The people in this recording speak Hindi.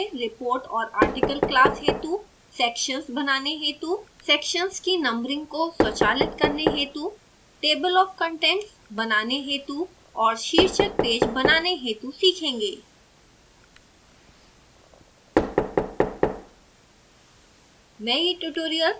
विशेष रूप से report और article class हेतु sections बनाने हेतु सेक्शन्स की नंबरिंग को स्वचालित करने हेतु table of contents बनाने हेतु और शीर्षक पेज बनाने हेतु सीखेंगे